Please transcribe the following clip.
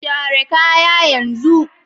share kaya yanzu!